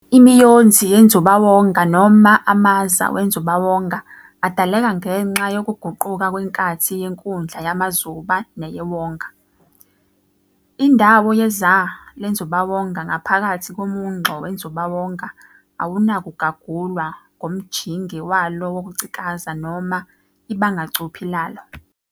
Imiyonzi yenzubawonga noma amaza wenzubawonga adaleka ngenxa yokuguquka kwenkathi yenkundla yamazuba neyewonga. Indawo yeZa lenzubawonga ngaphakathi komungxo wenzubawonga awunakugagulwa ngomjinge walo wokucikaza noma ibangacuphi lalo.